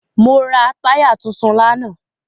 Mo ra táyà tuntun lánàá.